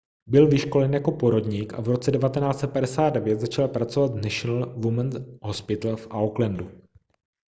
byl vyškolen jako porodník a v roce 1959 začal pracovat v national women's hospital v aucklandu